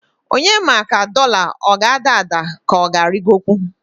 Onye ma ka doḷa ọ g'ada ada k'ọga arịgokwu?